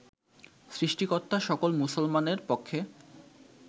সৃষ্টিকর্তা সকল মুসলমানের পক্ষে